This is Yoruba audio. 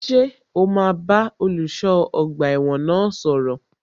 Ṣé o máa bá olùṣọ́ ọgbà ẹ̀wọ̀n náà sọ̀rọ̀?